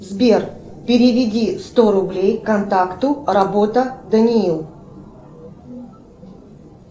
сбер переведи сто рублей контакту работа даниил